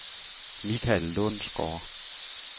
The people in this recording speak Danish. Mikael Lundsgaard